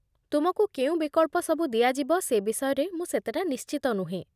ତୁମକୁ କେଉଁ ବିକଳ୍ପ ସବୁ ଦିଆଯିବ ସେ ବିଷୟରେ ମୁଁ ସେତେଟା ନିଶ୍ଚିତ ନୁହେଁ